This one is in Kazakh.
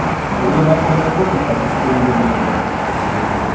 ең басынан белгілі болды ғой мысалы сүтті өздерінің жеміне қосып ішіп жүрді ғой ол